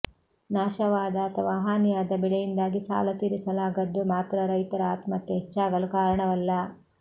ನಾಶವಾದ ಅಥವಾ ಹಾನಿಯಾದ ಬೆಳೆಯಿಂದಾಗಿ ಸಾಲ ತೀರಿಸಲಾಗದ್ದು ಮಾತ್ರ ರೈತರ ಆತ್ಮಹತ್ಯೆ ಹೆಚ್ಚಾಗಲು ಕಾರಣವಲ್ಲ